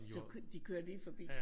Som jo de kører lige forbi